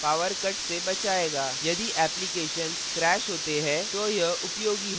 यदि applications crash होता है तो यह उपयोगी होगा